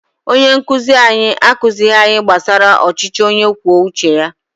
Onye nkuzi anyị akụzighị anyị gbasara ọchịchị onye kwuo uche ya